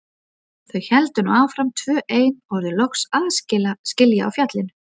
Þau héldu nú áfram tvö ein og urðu loks aðskila á fjallinu.